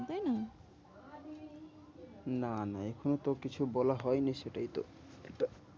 না না এখনো তো কিছু বলা হয় নি সেটাই তো এটা।